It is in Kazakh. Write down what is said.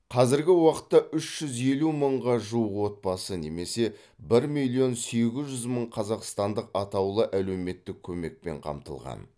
қазіргі уақытта үш жүз елу мыңға жуық отбасы немесе бір миллион сегіз жүз мың қазақстандық атаулы әлеуметтік көмекпен қамтылған